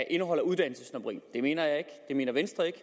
indeholder uddannelsessnobberi det mener jeg ikke det mener venstre ikke